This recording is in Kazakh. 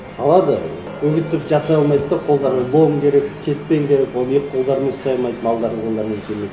салады үгітіп жасай алмайды да қолдарың болу керек кетпеңдер оны екі қолдарымен ұстай алмайды малдардың қолдарымен келмейді